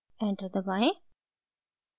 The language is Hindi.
enter दबाएं